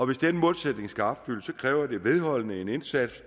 hvis den målsætning skal opfyldes kræver det en vedholdende indsats